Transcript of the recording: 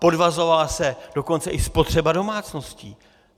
Podvazovala se dokonce i spotřeba domácností.